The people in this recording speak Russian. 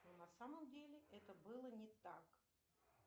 но на самом деле это было не так